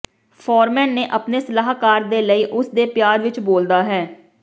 foreman ਨੇ ਆਪਣੇ ਸਲਾਹਕਾਰ ਦੇ ਲਈ ਉਸ ਦੇ ਪਿਆਰ ਵਿਚ ਬੋਲਦਾ ਹੈ